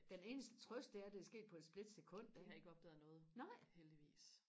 den eneste trøst det er at det er sket på et splitsekund nej